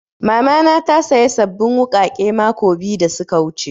Mama na ta saya sabbin wuƙaƙe mako biyu da suka wuce